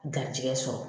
Garijɛgɛ sɔrɔ